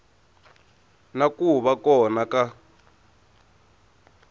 na ku va kona ka